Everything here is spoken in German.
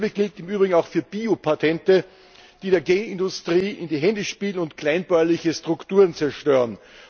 Dasselbe gilt im Übrigen auch für Biopatente, die der Genindustrie in die Hände spielen und kleinbäuerliche Strukturen zerstören.